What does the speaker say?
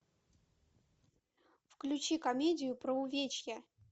включи комедию про увечья